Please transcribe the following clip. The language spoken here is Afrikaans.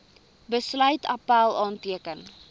besluit appèl aanteken